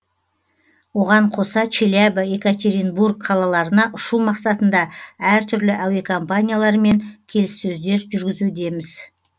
оған қоса челябі екатеринбург қалаларына ұшу мақсатында әртүрлі әуекомпанияларымен келіссөздер жүргізудеміз